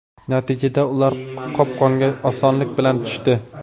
Natijada, ular qopqonga osonlik bilan tushdi.